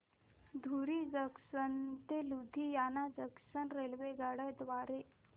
धुरी junction ते Ludhiana junction रेल्वेगाड्यां द्वारे